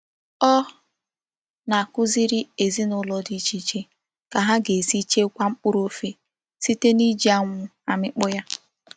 O na-akuziri ezina ulo di iche iche ka ha ga-esi chekwa mkpuru ofe site n'iji anwu amikpo ya.